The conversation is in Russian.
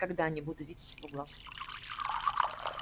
когда не буду видеть его глаз